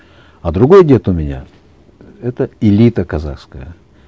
а другой дед у меня это элита казахская